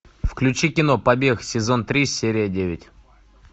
включи кино побег сезон три серия девять